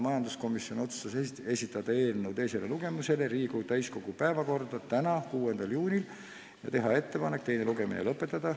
Majanduskomisjon otsustas esitada eelnõu teisele lugemisele Riigikogu täiskogu päevakorda tänaseks, 6. juuniks ja teha ettepanek teine lugemine lõpetada.